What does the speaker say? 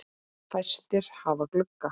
Fæstir hafa glugga.